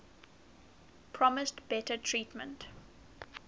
promised better treatment